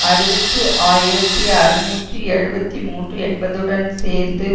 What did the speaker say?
அறுபத்து ஆயிரத்தி அறுநூற்று எழுபத்து மூன்று என்பதுடன் சேர்ந்து